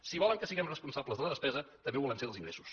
si volen que siguem responsables de la despesa també ho volem ser dels ingressos